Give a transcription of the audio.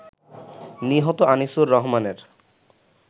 নিহত আনিসুর রহমানের